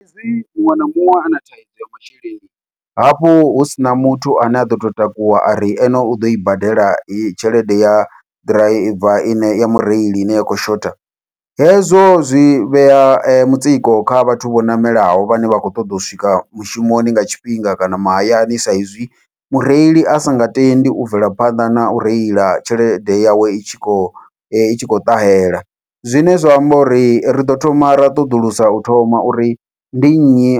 Hezwi muṅwe na muṅwe ana thaidzo ya masheleni hafhu husina muthu ane a ḓo to takuwa ari ene u ḓoi badela heyi tshelede ya ḓiraiva ine ya mureili ine ya khou shotha, hezwo zwi vhea mutsiko kha vhathu vho ṋamelaho vhane vha khou ṱoḓa u swika mushumoni nga tshifhinga kana mahayani, saizwi mureili a singa tendi u bvela phanḓa nau reila tshelede yawe i tshi khou i tshi khou ṱahela. Zwine zwa amba uri riḓo thoma ra ṱoḓulusa u thoma uri ndi nnyi